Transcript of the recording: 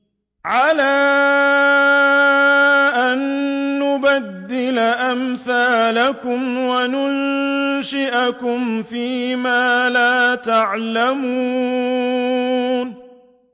عَلَىٰ أَن نُّبَدِّلَ أَمْثَالَكُمْ وَنُنشِئَكُمْ فِي مَا لَا تَعْلَمُونَ